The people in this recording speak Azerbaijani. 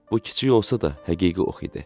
Bu kiçik olsa da, həqiqi ox idi.